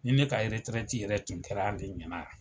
Ne ne ka yɛrɛrtɛrɛti yɛrɛ tun kɛra ale ɲɛna wa